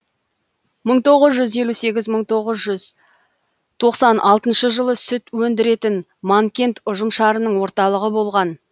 мың тоғыз жүз елу сегіз мың тоғыз жүз тоқсан алтыншы жылы сүт өндіретін манкент ұжымшарының орталығы болған